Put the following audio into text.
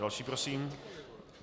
Další prosím.